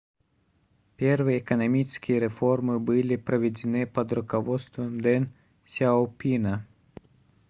первые экономические реформы были проведены под руководством дэн сяопина